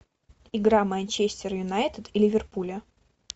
игра манчестер юнайтед и ливерпуля